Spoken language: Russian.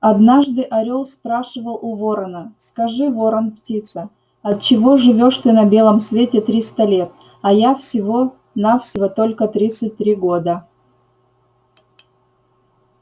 однажды орёл спрашивал у ворона скажи ворон-птица отчего живёшь ты на белом свете триста лет а я всего-на-всего только тридцать три года